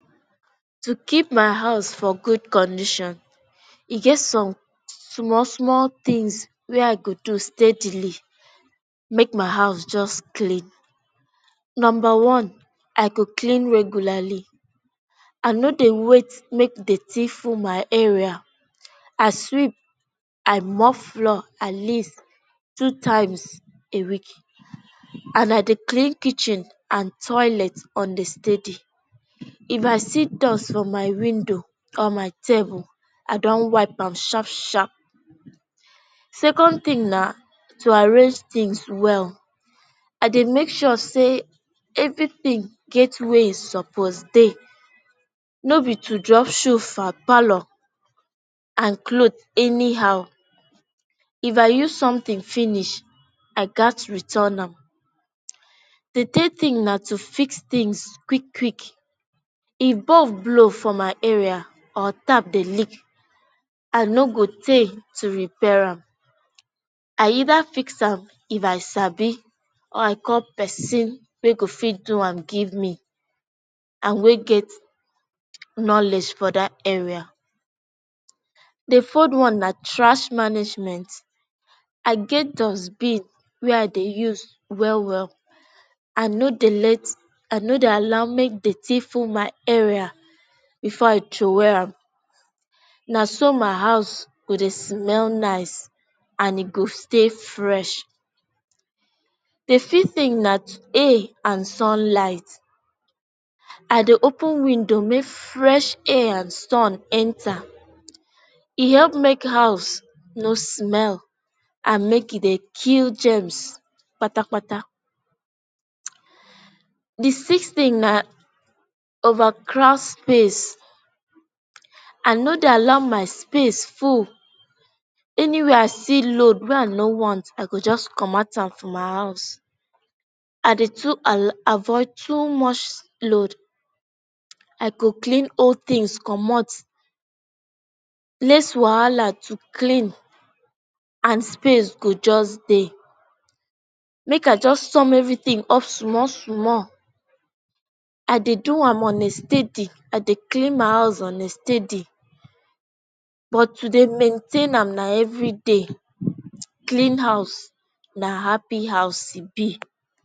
To keep my house for good condition e get some, small small things wey I go do steadily make my house just clean. Number one, I go clean regularly. I no dey wait make dirty full my area. I sweep I mop floor at least two times a week and I dey clean kitchen and toilet on the steady. If I see dust for my window or my table I dun wipe am sharp sharp. Second thing na, to arrange things well. I dey make sure say everything get where e suppose dey. No be to drop shoe for parlor and clothe anyhow. If I use something finish I gats return am. The third thing na to fix things quick quick. If bulb blow for my house or tap dey leak I no go tey to repair am. I either fix am if I sabi or i call pesin wey go fit do am give me and wey get knowledge for that area. The fourd one na trash management i get dust bin wey I Dey use well well. I no dey let I no dey allow make dirty full my area before I throwway am. Na so my house dey smell nice & e dey stay fresh. The fifth thing na air and sunlight. I dey open window make fresh air and sun enter. E help make house no smell and make e dey kill germs kpatakpata. The sixth thing na over crowds space. Ah no dey allow my space full. Anywhere I see load wey I no want I go just comot am for my house. I Dey too alllow avoid too much load. I go clean old things comot Less wahala to clean and space go just dey. Make I just sum every thing up sumall sumall. I dey do am on a steady I Dey clean my house on a steady but to dey maintain am na everyday. Clean house na happy house e be.